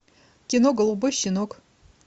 кино голубой щенок